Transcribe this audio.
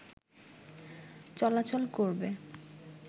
চলাচল করবে